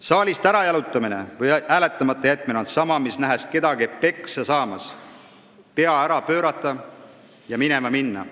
Saalist ärajalutamine või hääletamata jätmine on sama, mis, nähes kedagi peksa saamas, pea ära pöörata ja minema minna.